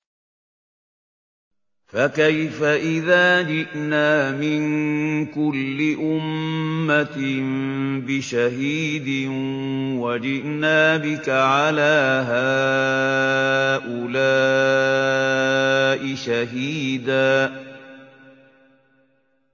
فَكَيْفَ إِذَا جِئْنَا مِن كُلِّ أُمَّةٍ بِشَهِيدٍ وَجِئْنَا بِكَ عَلَىٰ هَٰؤُلَاءِ شَهِيدًا